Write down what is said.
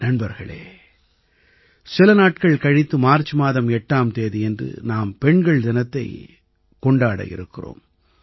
நண்பர்களே சில நாட்கள் கழித்து மார்ச் மாதம் 8ஆம் தேதியன்று நாம் பெண்கள் தினத்தைக் கொண்டாட இருக்கிறோம்